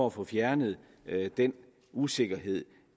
at få fjernet den usikkerhed